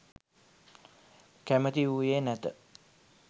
කැමැති වූයේ නැත.